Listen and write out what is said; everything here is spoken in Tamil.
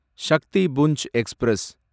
சக்திபுஞ்ச் எக்ஸ்பிரஸ்